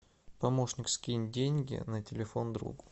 помощник скинь деньги на телефон другу